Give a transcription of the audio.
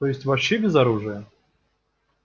то есть вообще без оружия